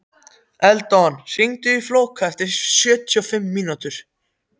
Eldon, hringdu í Fólka eftir sjötíu og fimm mínútur.